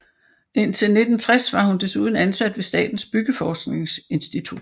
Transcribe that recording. Indtil 1960 var hun desuden ansat ved Statens Byggeforskningsinstitut